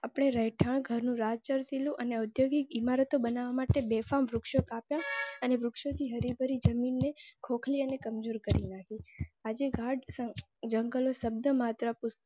અપને રહેઠાણ ઘર નું રાજલ કિલો અને ઔદ્યોગિક ઈમારતો બનાવવા માટે બેફામ વૃક્ષો કાપ્યા અને વૃક્ષોની હરીભરી જમીન ખોખલી અને કમજોર કરી નાખી. આજે ઘાટ જંગલો શબ્દ મત્ર પુસ્તકો